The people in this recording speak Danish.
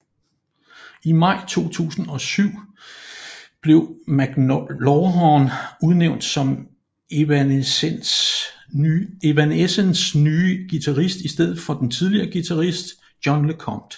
I maj 2007 blev McLawhorn udnævnt som Evanescences nye guitarist i stedet for den tidligere guitarist John LeCompt